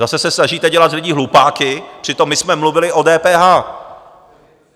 Zase se snažíte dělat z lidí hlupáky, přitom my jsme mluvili o DPH.